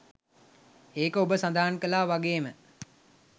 ඒක ඔබ සඳහන් කළා වගේම